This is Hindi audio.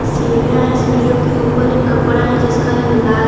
सीढ़ियां है सीढ़ियों के ऊपर एक कपड़ा है जिसका रंग लाल है।